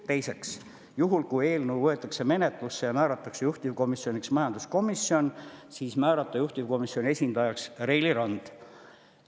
Teiseks, juhul kui eelnõu võetakse menetlusse ja määratakse juhtivkomisjoniks majanduskomisjon, määrata juhtivkomisjoni esindajaks Reili Rand.